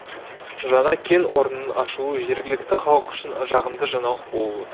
жаңа кен орнының ашылуы жергілікті халық үшін жағымды жаңалық болып отыр